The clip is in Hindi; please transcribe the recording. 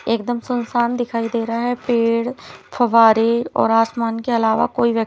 एकदम सुनसान दिखाइ दे रहा है पेड़ फ़वारें और आसमान के अलावा कोई व्यक्ति--